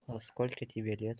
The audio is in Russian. а сколько тебе лет